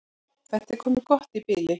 Þetta er komið gott í bili.